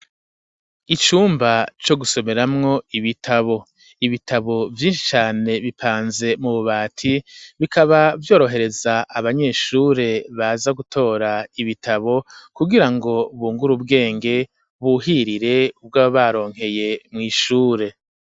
Icumba co gusomeramwo ibitabo, ibitabo vyinshi cane bipanze mu bubati, bikaba vyorohereza abanyeshure baza gutora ibitabo kugira ngo bungur'ubwenge buhirire ubwo baba baronkeye mw'ishure.